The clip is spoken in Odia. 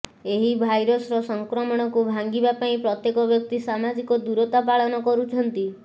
ଏହି ଭାଇରସର ସଂକ୍ରମଣକୁ ଭାଙ୍ଗିବା ପାଇଁ ପ୍ରତ୍ୟେକ ବ୍ୟକ୍ତି ସାମାଜିକ ଦୂରତା ପାଳନ କରୁଛନ୍ତି